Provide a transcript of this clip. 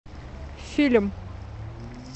фильм